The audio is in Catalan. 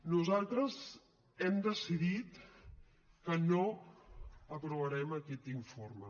nosaltres hem decidit que no aprovarem aquest informe